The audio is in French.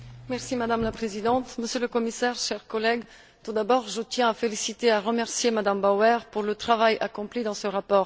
Madame la Présidente, Monsieur le Commissaire, chers collègues, tout d'abord, je tiens à féliciter et à remercier Mme Bauer pour le travail accompli dans ce rapport.